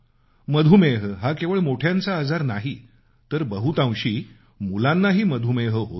मधुमेह हा केवळ मोठ्यांचा आजार नाही तर बहुतांशी मुलांनाही होतो